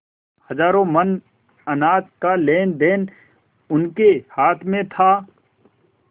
हजारों मन अनाज का लेनदेन उनके हाथ में था